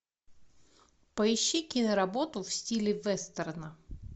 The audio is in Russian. поищи киноработу в стиле вестерна